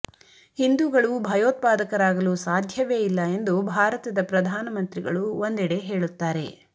ಹಿಂದೂಗಳು ಭಯೋತ್ಪಾದಕರಾಗಲು ಸಾಧ್ಯವೇ ಇಲ್ಲ ಎಂದು ಭಾರತದ ಪ್ರಧಾನಮಂತ್ರಿಗಳು ಒಂದೆಡೆ ಹೇಳುತ್ತಾರೆ